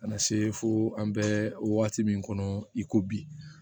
Ka na se fo an bɛ waati min kɔnɔ i ko bi